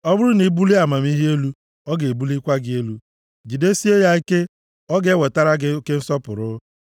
Ọ bụrụ na i bulie amamihe elu, o ga-ebulikwa gị elu. Jidesie ya ike, ọ ga-ewetara gị oke nsọpụrụ.